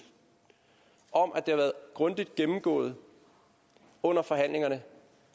om at det har været grundigt gennemgået under forhandlingerne